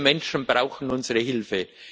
Diese Menschen brauchen unsere Hilfe!